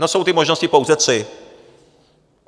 No, jsou ty možnosti pouze tři.